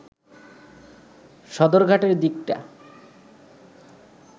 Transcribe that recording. সদরঘাটের দিকটা